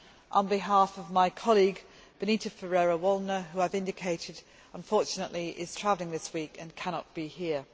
on behalf of my colleague Benita Ferrero Waldner, who, I have indicated, is unfortunately travelling this week and cannot be here.